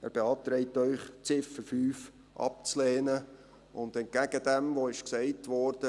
Er beantragt Ihnen, die Ziffer 5 abzulehnen, und entgegen dem, was gesagt wurde: